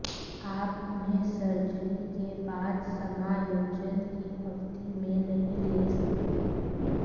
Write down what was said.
आप उन्हें सर्जरी के बाद समायोजन की अवधि में नहीं ले सकते